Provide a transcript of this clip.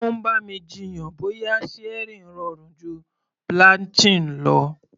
Ó ń bá mi jiyàn bóyá searing rọrùn ju blanching lọ.